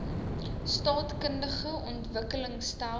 staatkundige ontwikkeling stel